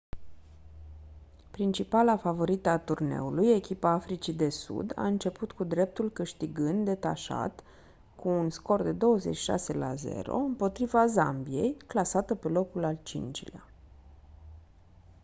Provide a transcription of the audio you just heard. principala favorită a turneului echipa africii de sud a început cu dreptul câștigând detașat cu un scor de 26 la 0 împotriva zambiei clasată pe locul al 5-lea